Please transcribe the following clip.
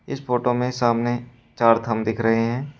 इस फोटो में सामने चार थम्ब दिख रहे हैं।